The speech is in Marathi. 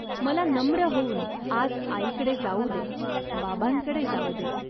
मला नम्र होऊन आज आईकडे जाऊ दे. बाबांकडे जाऊ दे.